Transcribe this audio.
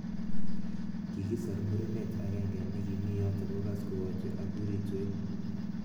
Kikisar murenet ak genge nikimi yotok kokas kowache ak uritwet.